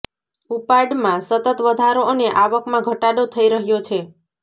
ઉપાડમાં સતત વધારો અને આવકમાં ઘટાડો થઈ રહ્યો છે